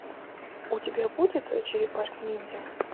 у тебя будет черепашки ниндзя